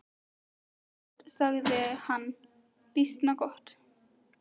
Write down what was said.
Býsna gott, sagði hann, býsna gott.